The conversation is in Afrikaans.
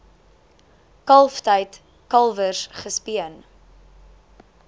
kalftyd kalwers gespeen